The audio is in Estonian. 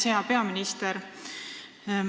Hea peaminister!